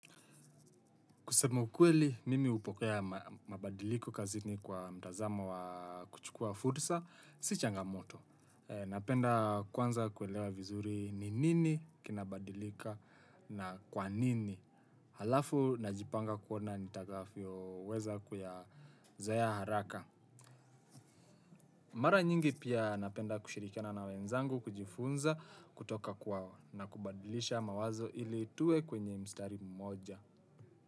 Kusema ukweli, mimi hupokea mabadiliko kazini kwa mtazamo wa kuchukua fursa, si changamoto. Napenda kwanza kuelewa vizuri ni nini kinabadilika na kwa nini. Halafu najipanga kuona nitakavyo weza kuyazoea haraka. Mara nyingi pia napenda kushirikiana na wenzangu kujifunza kutoka kwao na kubadilisha mawazo ili tuwe kwenye mstari mmoja.